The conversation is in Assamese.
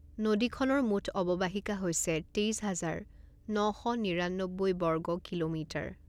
নদীখনৰ মুঠ অৱবাহিকা হৈছে তেইছ হাজাৰ ন শ নিৰান্নব্বৈ বৰ্গ কিলোমিটাৰ।